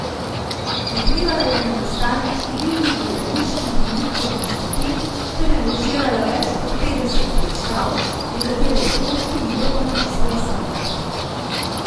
Vplivala je na nastanek številnih gledaliških in lutkovnih skupin ter režirala več kot petdeset predstav, nekatere otroške igre pa napisala sama.